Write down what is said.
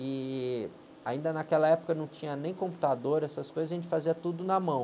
E ainda naquela época não tinha nem computador, essas coisas, a gente fazia tudo na mão.